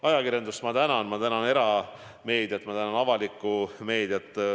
Ajakirjandust ma tänan, ma tänan erameediat, ma tänan avalikku meediat.